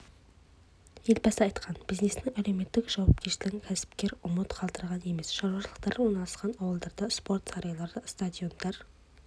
елбасы айтқан бизнестің әлеуметтік жауапкершілігін кәсіпкер ұмыт қалдырған емес шаруашылықтары орналасқан ауылдарда спорт сарайлары стадиондар